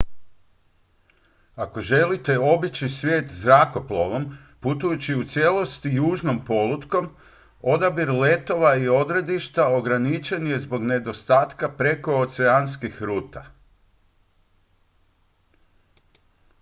ako želite obići svijet zrakoplovom putujući u cijelosti južnom polutkom odabir letova i odredišta ograničen je zbog nedostatka prekooceanskih ruta